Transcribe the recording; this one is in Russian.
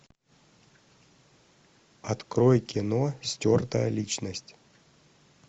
открой кино стертая личность